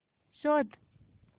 शोध